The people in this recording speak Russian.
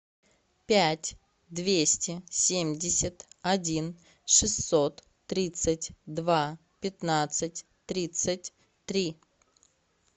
пять двести семьдесят один шестьсот тридцать два пятнадцать тридцать три